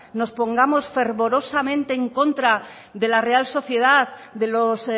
nos pongamos fervorosamente en contra de la real sociedad de los